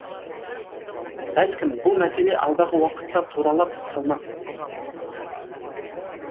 бәлкім бұл мәселе алдағы уақытта туралап қалмас